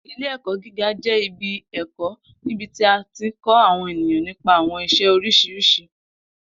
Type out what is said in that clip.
Ile-ẹkọ giga jẹ ibi ẹkọ nibiti a ti kọ awọn eniyan nipa awọn iṣẹ oriṣiriṣi